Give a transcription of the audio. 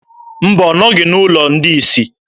Mba, ọ nọghị n'ụlọ ndị isi.